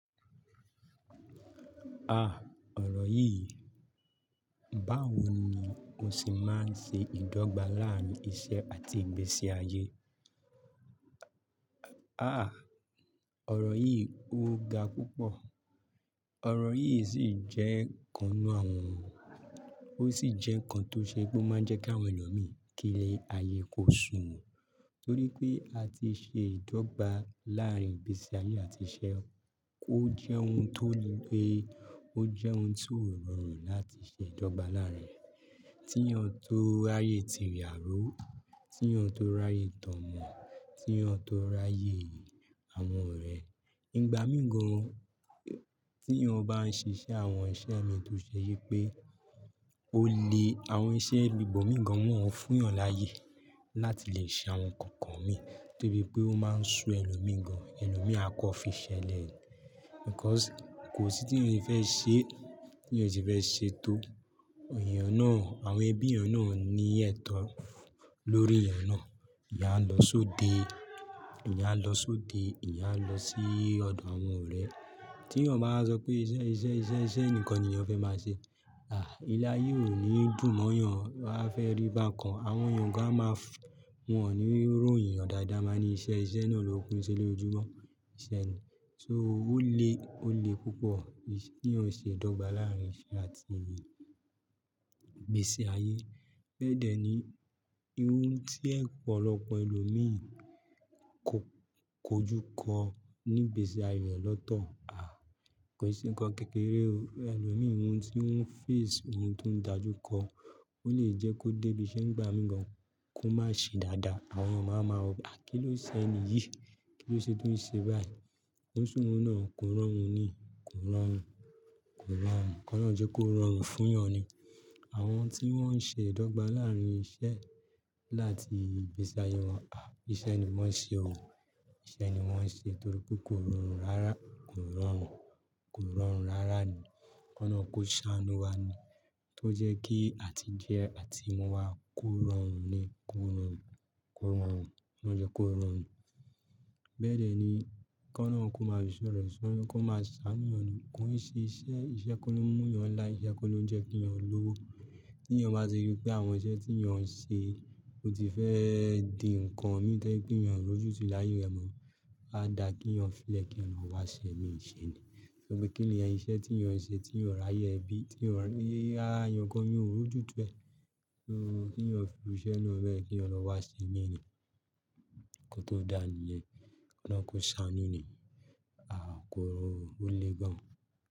Ah! Ọ̀rọ̀ yìí, báwo ni o se máa ń ṣe ìdọ́gba láàárín iṣẹ́ àti ìgbésí ayé. Ah! Ọ̀rọ̀ yìí ó ga púpọ̀. Ọ̀rọ̀ yìí sì jẹ́ nǹkan nú àwọn oun, ó sì jẹ́ nǹkan tó ṣe pé ó máa ń jẹ́ kí àwọn ẹlòmí kí ilé-ayé kó sún wọ́n. Nítorí pé la ti ṣe ìdọ́gba láàárín ìgbésí ayé àti iṣẹ́, ó jẹ́ ohun tó le, ó jẹ́ ohun tí ó rọrùn láti ṣe ìdọ́gba láàárín rẹ̀. Tí èèyàn tó ráyè tí ìyàró, tí èèyàn tó ráyè tọ́mọ, tí èèyàn tó ráyè àwọn ọ̀rẹ́. Ìgbà míi gàn tí èèyàn bá ń ṣe iṣẹ́, àwọn iṣẹ́ mi tó ṣe yí pé ó le àwọn iṣẹ́ ibò mii gan wọn fún èèyàn láàyè láti lè ṣe àwọn nǹkan kan mì, torí pé ó máa ń so ẹlòmíì gan, ẹlòmíi akọ́ fi ṣẹlẹ̀ ni. Because kò sí tí èèyàn ṣe fẹ́ ṣe, tí èèyàn yẹn kò fẹ́ ṣe tó, èèyàn náà, àwọn ẹbí èèyàn náà ò ní ẹ̀tọ́ lórí èèyàn náà. Ìyáń a lọ sóde, ìyáń a lọ sóde, ìyáń a lọ sí ọ̀dọ̀ àwọn ọ̀rẹ́. Tí èèyàn bá sọ pé iṣẹ́, iṣẹ́, iṣẹ́, iṣẹ́ nìkan ni èèyàn fẹ́ máa ṣe. Ah! Ilé-ayé ò ní dùn mọ́ yàn, á fẹ́ rí bákan. Àwọn èèyàn gan-an máa f- wọn ò ní royin èèyàn dáadáa wan máa ní iṣẹ́, iṣẹ́ náà ló kúńṣẹ́ lójoojumọ, iṣẹ́ ni. So ó le, ó le púpọ̀ tí èèyàn ó ṣe ìdọ́gba láàárín iṣẹ́ àti ìgbésí ayé. Bẹ́ẹ̀ dẹ́ ní, iun tí ọ̀pọ̀lọpọ̀ ẹlòmí kò, kò jú kọ́ ní ìgbésí ayé rẹ lọ́tọ̀. Ah! Kò n ṣe nǹkan kékeré o, ẹlòmí ohun tí on ń face, ohun tó ń dàjú kọ́, ó lè jẹ́ kó dé ibi iṣẹ́ nígbà mí gàn kó má ṣe dáadáa. Àwọn èèyàn máa wa mavwo pe, "à kí ló ṣe ẹníyì? Kí ló ṣe tó ń ṣe báyìí? Ko n ṣ'oun náà, kò rọrùn ni, kò rọrùn, kò rọrùn." Kọ́lọun jẹ́ kó rọrùn fún èèyàn ni. Àwọn tí wọ́n ń ṣe ìdọ́gba láàárín iṣẹ́ àti ìgbésí ayé wọn, ah! Iṣẹ́ ni wọ́n ṣe o, iṣẹ́ ni wọ́n ṣe torí pé kò rọrùn rárá, kò rọrùn, kò rọrùn rárá ni. Kọ́lọun kó ṣaanu wa ni tó jẹ́ kí àti jẹ àti mu wá kò rọrùn ni, kò rọrùn, kò rọrùn. Kọ́ náà jẹ́ kó rọrùn. Bẹ́ẹ̀ dẹ́ ni, kọ́ọlọun kó máa fí isọ̀rẹ ṣọ yan, kó maa ṣáánú yan ni, kóo ń ṣe iṣẹ́, iṣẹ́ kó ló mú ìyàn láà, iṣẹ́ kó ló ń jẹ́ kí èèyàn lówó. Tí èèyàn bá ti rí pé àwọn iṣẹ́ tí èèyàn ń ṣe kò ti fẹ́ di nǹkan mìíràn to ẹ pe èèyàn ó rújú tu ile àyè, rẹ mọ áa dà kí èèyàn fi lẹ kii yan lọ wá ṣẹ́ míi ṣe ni. Torí pé kí ni ẹni iṣẹ́ tí èèyàn ń ṣe, tí èèyàn ráyè bíi, tí yàn rí, ara èèyàn gan èèyàn ó rojú tu ẹ. So kí èèyàn fi iru ìṣẹ́ náà bẹ́ẹ̀, kí èèyàn lọ wá ṣe mí ì ní. Ko tó dàníyẹn. Kọ́lọun kó ṣáánú ni. Ah! Kó ole gan-an.